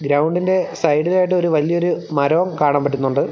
ഗ്രൗണ്ടിൻ്റെ സൈഡിലായിട്ട് ഒരു വലിയൊരു മരവും കാണാൻ പറ്റുന്നുണ്ട്.